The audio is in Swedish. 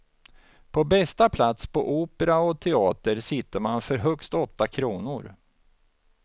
På bästa plats på opera och teater sitter man för högst åtta kronor.